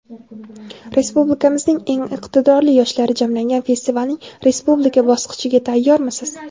Respublikamizning eng iqtidorli yoshlari jamlangan festivalning respublika bosqichiga tayyormisiz?.